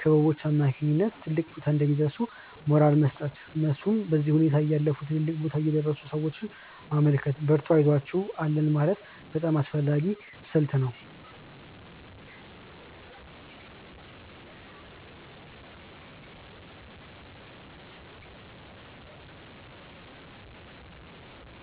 ክበቦች አማካኝነት ትልቅ ቦታ እንደሚደርሱ ሞራል መስጠት፤ እንደነሱ በዚህ ሁኔታ ያለፉ ትልልቅ ቦታ የደረሱን ሰዎች ማመልከት፤ በርቱ አይዞአችሁ አለን ማለት በጣም አስፈላጊ ስልት ነው።